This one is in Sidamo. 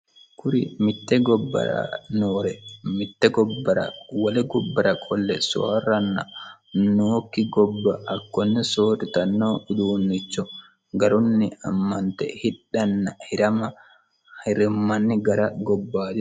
kuri mitte gobbara noore wole gobbara qolle soorranna nookki gobba hakkonne soorritanno uduunnicho garunni ammante hidhana hirama hirammanni gara gobbayidi...